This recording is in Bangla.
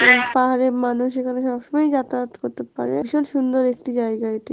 এবং পাহাড়ের মানুষ এখানে সবসময়ই যাতায়াত করতে পারে ভীষণ সুন্দর একটি জায়গা এটি।